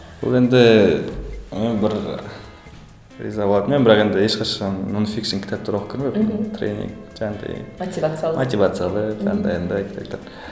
бұл енді і бір риза болатын едім бірақ енді ешқашан кітаптар оқып көрмеппін тренинг жаңағындай мотивациалық мотивациялық андай андай кітаптар